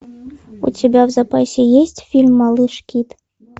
у тебя в запасе есть фильм малыш кит